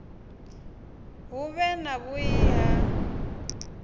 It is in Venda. hu vhe na vhui na